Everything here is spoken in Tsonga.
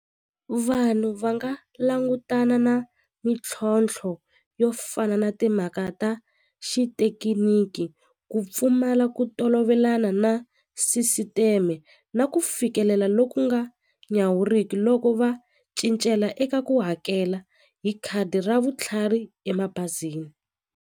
Vanhu va nga langutana na mintlhontlho yo fana na timhaka ta xitekiniki ku pfumala ku tolovelana na sisiteme na ku fikelela loku nga nyawuriki loko va cincela eka ku hakela hi khadi ra vutlhari emabazini.